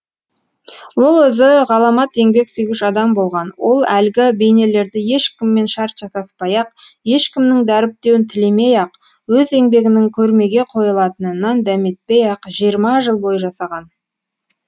ол өзі ғаламат еңбек сүйгіш адам болған ол әлгі бейнелерді ешкіммен шарт жасаспай ақ ешкімнің дәріптеуін тілемей ақ өз еңбегінің көрмеге қойылатынынан дәметпей ақ жиырма жыл бойы жасаған